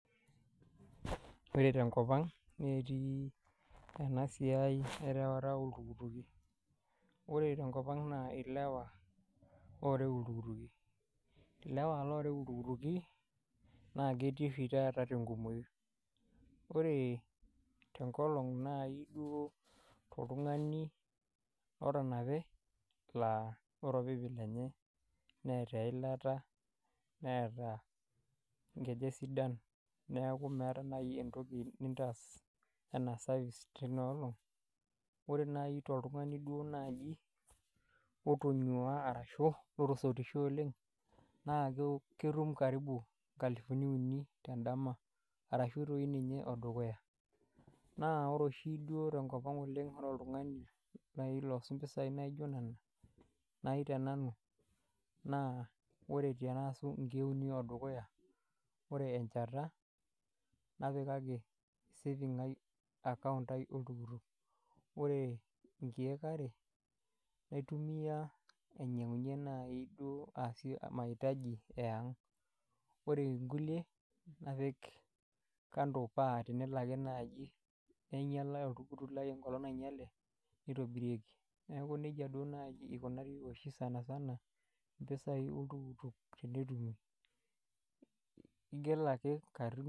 Ore te nkopang netii ena siai erawata loltukituki. Ore tenkopang naa ilewa oorau iltukituki, illewa looreu iltukutuki naa ketii sii taata te nkumoi, ore te inkolong naijo oltungani otanape naa ore ilpikipiki lenye neata ilata, neaata enkiti esidan, neaku meata nai entoki nintaas enaa service teina olong, ore nai to iltungani duo naaji otonyua arashu otosotishe oleng, naa ketum karibu nkalufuni uni te indama arashu doi ninye odukuya, na ore oshi duo te nkopang oleng ore oltungani nai osotu mpisai naijo nena nai te nanu, naa ore piirasu inkeek uni edukuya, ore enchata napikaki safing' aai akaunt aai oltuktuk, ore inkeek are naitumiya ainyang'unye naii duo aasii maitaji e ang',ore inkule napik ikando paa tenelo ake naaji neinyalai oltukutuk lai enkata nainyale, neitobirieki, naaku neja duo naaji eikunari oshi sani sana, mpisai oltuktuk teneitumiyai, igil ake karibu